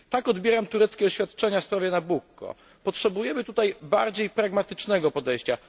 Tak odbieram tureckie oświadczenia w sprawie Nabukko. Potrzebujemy tutaj bardziej pragmatycznego podejścia.